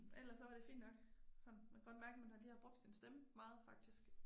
Ellers så var det fint nok. Sådan man kan godt mærke man har lige har brugt sin stemme meget faktisk